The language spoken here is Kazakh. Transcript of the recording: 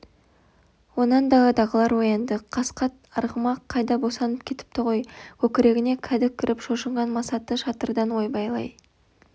онан даладағылар оянды қасқа арғамақ қайда босанып кетіпті ғой көкірегіне кәдік кіріп шошынған масаты шатырдан ойбайлай